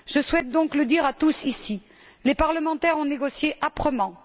Je souhaite donc le dire à tous ici les parlementaires ont négocié âprement.